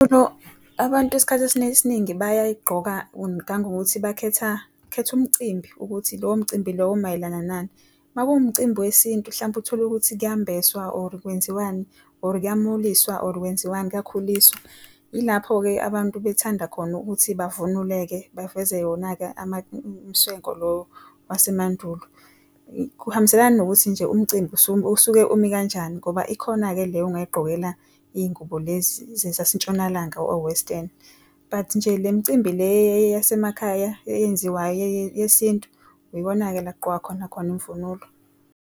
Yebo, abantu isikhathi esiningi bayayigqoka ngangokuthi bakhetha, khetha umcimbi ukuthi lowo mcimbi lowo umayelana nani. Makuwumcimbi wesintu hlampe utholukuthi kuyombeswa or kwenziwani, or kuyamuliswa or kwenziwani, kuyakhuliswa, ilapho-ke abantu bethanda khona ukuthi bavunule-ke, baveze yona-ke ama mswenko lo wasemandulo. Kuhambiselana nokuthi nje umcimbi usuke umi kanjani ngoba ikhona-ke le ongayigqokela izingubo lezi zasentshonalanga or western. But nje le micimbi le yasemakhaya eyenziwa yesintu yikona-ke la okugqokwa khona khona imvunulo.